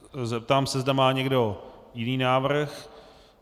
Zeptám se, zda má někdo jiný návrh.